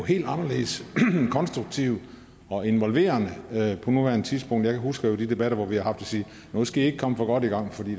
helt anderledes konstruktiv og involverende på nuværende tidspunkt jeg husker jo de debatter vi har sagde nu skal i ikke komme for godt i gang for det